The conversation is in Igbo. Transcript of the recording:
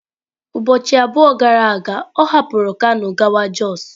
Ụbọchị abụọ gara aga ọ hapụrụ kano gawa jos.